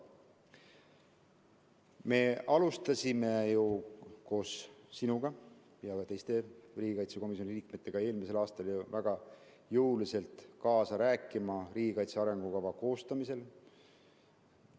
Me hakkasime ju koos sinuga ja teiste riigikaitsekomisjoni liikmetega eelmisel aastal väga jõuliselt kaasa rääkima riigikaitse arengukava koostamisel.